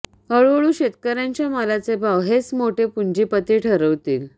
हळूहळू शेतकऱ्यांच्या मालाचे भाव हेच मोठे पुंजीपती ठरवतील